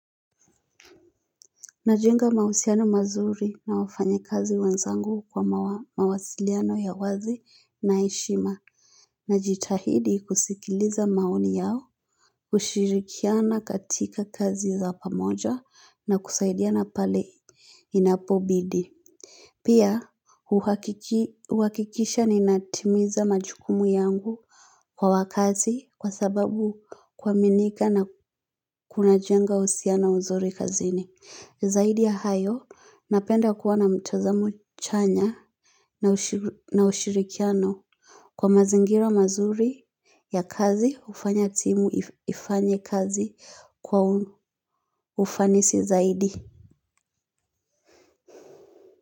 Najenga mahusiano mazuri na wafanyakazi wenzangu kwa mawasiliano ya wazi na heshima. Najitahidi kusikiliza maoni yao, kushirikiana katika kazi za pamoja na kusaidiana pale inapobidi. Pia uhakikisha ninatimiza majukumu yangu kwa wakazi kwa sababu kuaminika na kunajenga uhusiano mzuri kazini. Zaidi ya hayo napenda kuwa na mtazamo chanya na ushirikiano kwa mazingira mazuri ya kazi hufanya timu ifanye kazi kwa ufanisi zaidi.